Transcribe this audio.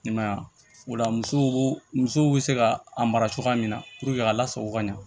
Ne ma yan o la muso musow be se ka a mara cogoya min na a lasago ka ɲa